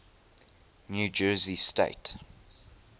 new jersey state